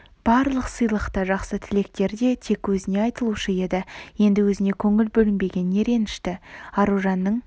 барлық сыйлық та жақсы тілектер де тек өзіне айтылушы еді енді өзіне көңіл бөлінбегеніне ренішті аружанның